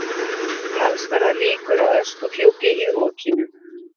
Talsverðar líkur á öskufjúki í rokinu